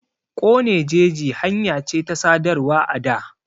Ƙone jeji hanya ce ta sadarwa a da.